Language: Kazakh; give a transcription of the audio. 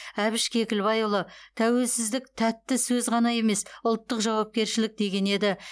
әбіш кекілбайұлы тәуелсіздік тәтті сөз ғана емес ұлттық жауапкершілік деген еді